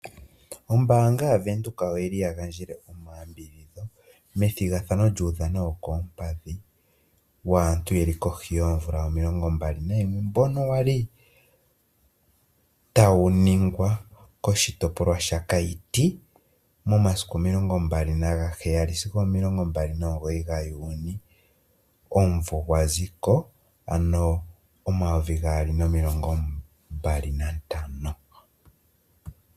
Ombaanga yaWindhoek oyili yagandjele omayambidhidho methigathano lyuudhano wokoompadhi waantu yeli kohi yoomvula o21, mbono wali tawu ningwa koshitopolwa shaKaiti momasiku 27 sigo 29 gaJuni omumvo gwaziko ano 2025.